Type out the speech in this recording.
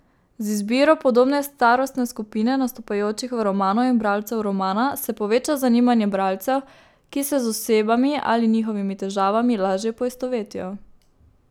Z izbiro podobne starostne skupine nastopajočih v romanu in bralcev romana se poveča zanimanje bralcev, ki se z osebami ali njihovimi težavami lažje poistovetijo.